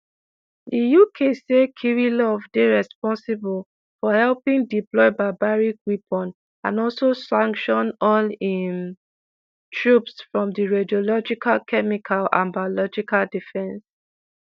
di uk say kirillov dey responsible for helping deploy barbaric weapons and also sanction all im troops from di radiological chemical and biological defence